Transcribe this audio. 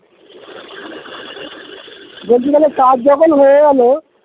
বলছি যখন কাজ যখন হয়ে গেলো